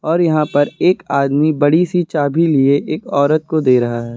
और यहां पर एक आदमी बड़ी सी चाभि लिए एक औरत को दे रहा है।